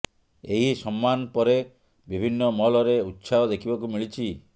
ଏହି ସମ୍ମାନ ପରେ ବିଭିନ୍ନ ମହଲରେ ଉତ୍ସାହ ଦେଖିବାକୁ ମିଳିଛି